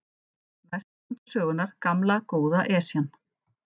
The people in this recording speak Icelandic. Næst kom til sögunnar gamla, góða Esjan.